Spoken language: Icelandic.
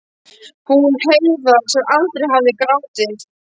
Hún Heiða sem aldrei hafði grátið.